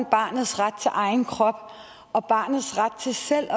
barnets ret til egen krop og barnets ret til selv at